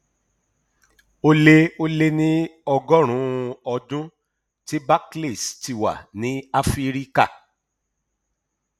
ó lé ó lé ní ọgọrùnún ọdún tí barclays ti wà ní áfíríkà